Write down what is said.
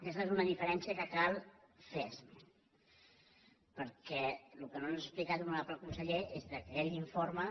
aquesta és una diferèn·cia que cal fer perquè el que no ens ha explicat hono·rable conseller és que aquell informe